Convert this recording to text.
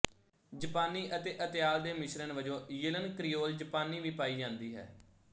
ਜਪਾਨੀ ਅਤੇ ਅਤਿਆਲ ਦੇ ਮਿਸ਼ਰਣ ਵਜੋਂ ਯਿਲਨ ਕ੍ਰੀਓਲ ਜਪਾਨੀ ਵੀ ਪਾਈ ਜਾਂਦੀ ਹੈ